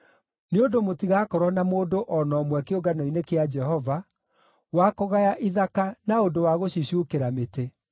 Nĩ ũndũ mũtigakorwo na mũndũ o na ũmwe kĩũngano-inĩ kĩa Jehova wa kũgaya ithaka na ũndũ wa gũcicuukĩra mĩtĩ.